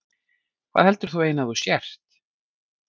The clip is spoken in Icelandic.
Hvað heldur þú eiginlega að þú sért?